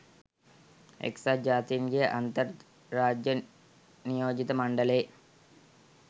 එක්සත් ජාතීන්ගේ අන්තර් රාජ්‍ය නියෝජිත මණ්ඩලයේ